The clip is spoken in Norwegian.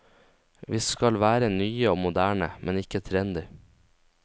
Vi skal være nye og moderne, men ikke trendy.